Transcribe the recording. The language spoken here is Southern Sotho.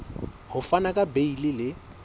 ho fana ka beile le